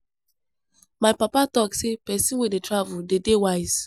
My papa talk sey pesin wey dey travel dey dey wise.